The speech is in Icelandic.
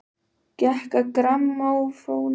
Gekk að grammófóninum og tók nálina af plötunni.